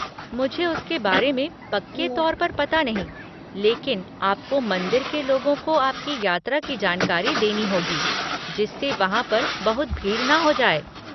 मुझे उसके बारे में पक्के तौर पर पता नहीं लेकिन आपको मंदिर के लोगों को आपकी यात्रा की जानकारी देनी होगी, जिससे वहाँ पर बहुत भीड़ न हो जाए।